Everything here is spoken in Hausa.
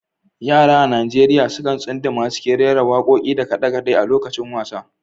Yara a Najeriya sukan tsunduma cikin rera wakoki da kade-kade a lokacin wasa.